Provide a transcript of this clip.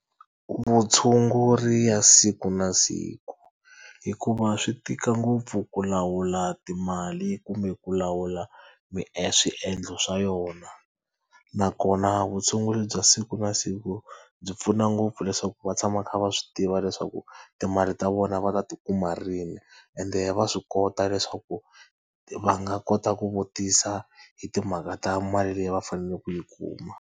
Vutshunguri bya siku na siku hikuva swi tika ngopfu ku lawula timali kumbe ku lawula swiendlo swa yona nakona vutshunguri bya siku na siku byi pfuna ngopfu leswaku va tshama kha va swi tiva leswaku timali ta vona va ta ti kuma rini. Ende va swi kota leswaku va nga kota ku vutisa hi timhaka ta mali leyi va faneleke ku yi kuma.